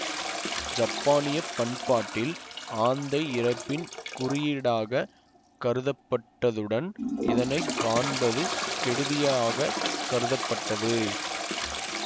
ஜப்பானியப் பண்பாட்டில் ஆந்தை இறப்பின் குறியீடாகக் கருதப்பட்டதுடன் இதனை காண்பதும் கெடுதியாகக் கருதப்பட்டது